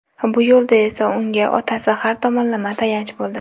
Bu yo‘lda esa unga otasi har tomonlama tayanch bo‘ldi.